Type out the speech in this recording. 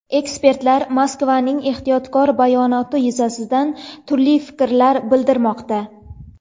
Ekspertlar Moskvaning ehtiyotkor bayonoti yuzasidan turli fikrlar bildirmoqda.